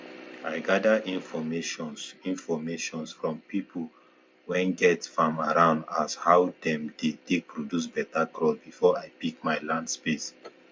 i gada infomations infomations from pipu wen get farm around as how dem dey take produce beta crops before i pick my land space